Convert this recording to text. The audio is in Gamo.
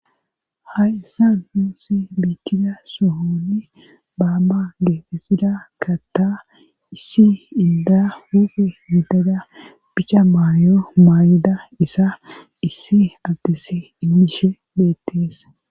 ha issa nusi biitida sohonni baanga geetesida katta issi inda hupe hidada bicha maayo maayida isa issi adese imishe beetteesa